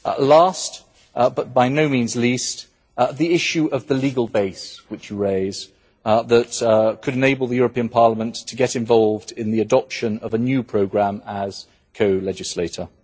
Last, but by no means least, the issue of the legal base which you raise that could enable the European Parliament to get involved in the adoption of a new programme as co legislator.